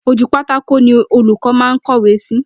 Ojú pátákó ni olúkọ́ máa ń kọ́wé si